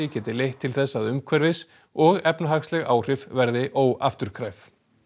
geti leitt til þess að umhverfis og efnahagsleg áhrif verði óafturkræf